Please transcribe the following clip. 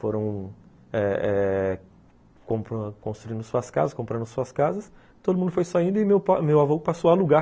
Foram eh eh compra construindo suas casas, comprando suas casas, todo mundo foi saindo e meu avô passou a alugar.